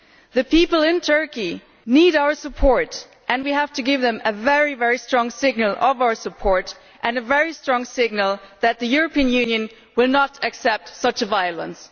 The people in Turkey need our support and we have to give them a very strong signal of our support and a very strong signal that the European Union will not accept such violence.